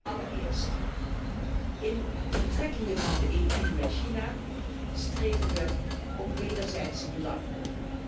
Allereerst, in de betrekkingen van de EU met China streven we wederzijdse belangen na.